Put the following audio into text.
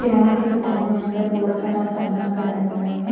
किराना के दुकान में अंदर बहुत सारा सामान पड़ा हुआ है।